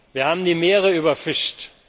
Wir haben die Meere überfischt.